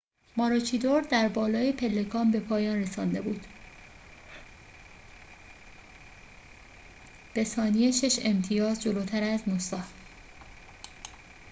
ماروچیدور در بالای پلکان به پایان رسانده بود به ثانیه شش امتیاز جلوتر از نوسا